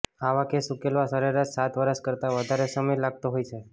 આવા કેસ ઉકેલવામાં સરેરાશ સાત વર્ષ કરતાં વધારે સમય લાગતો હોય છે